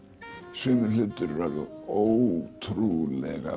sumir hlutir eru alveg ótrúlega